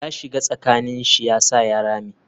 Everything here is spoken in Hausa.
Ya shiga tsakani shi yasa ya rame.